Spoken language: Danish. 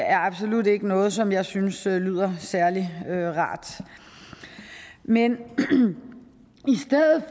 er absolut ikke noget som jeg synes lyder særlig rart men i stedet